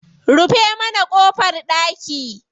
Rufe mana ƙofar ɗaki.